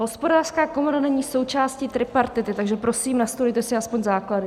Hospodářská komora není součástí tripartity, takže prosím, nastudujte si aspoň základy.